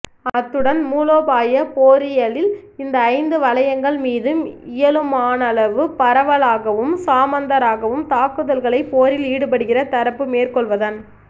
அத்துடன் மூலோபாயப் போரியலில் இந்த ஐந்து வளையங்கள் மீதும் இயலுமானளவு பரவலாகவும் சமாந்தரமாகவும் தாக்குதல்களை போரில் ஈடுபடுகின்ற தரப்பு மேற்கொள்வதன்